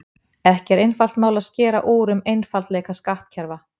ekki er einfalt mál að skera úr um einfaldleika skattkerfa